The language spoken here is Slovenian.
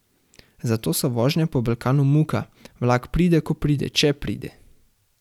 Zato so vožnje po Balkanu muka, vlak pride, ko pride, če pride.